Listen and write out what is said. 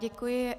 Děkuji.